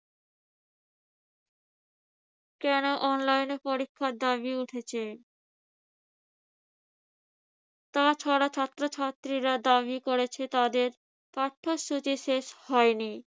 কেন online পরীক্ষার দাবি উঠেছে? তাছাড়া ছাত্রছাত্রীরা দাবি করেছে তাদের পাঠ্যসূচি শেষ হয়নি।